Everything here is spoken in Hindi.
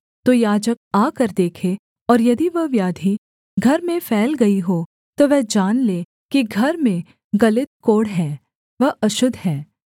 तो याजक आकर देखे और यदि वह व्याधि घर में फैल गई हो तो वह जान ले कि घर में गलित कोढ़ है वह अशुद्ध है